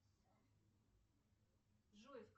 джой